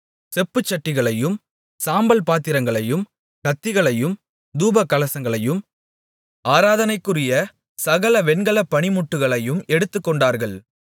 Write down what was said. செப்புச்சட்டிகளையும் சாம்பல் பாத்திரங்களையும் கத்திகளையும் தூபகலசங்களையும் ஆராதனைக்குரிய சகல வெண்கலப் பணிமுட்டுகளையும் எடுத்துக்கொண்டார்கள்